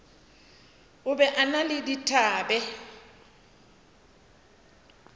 be o na le dithabe